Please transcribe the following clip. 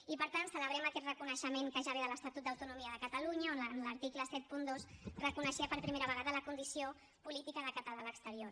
i per tant celebrem aquest reconeixement que ja ve de l’estatut d’autonomia de catalunya on en l’article setanta dos reconeixia per primera vegada la condició política de català a l’exterior